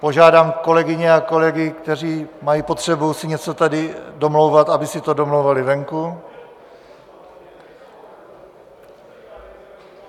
Požádám kolegyně a kolegy, kteří mají potřebu si něco tady domlouvat, aby si to domlouvali venku.